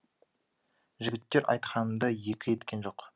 жігіттер айтқанымды екі еткен жоқ